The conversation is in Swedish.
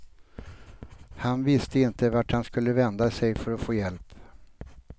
Han visste inte vart han skulle vända sig för att få hjälp.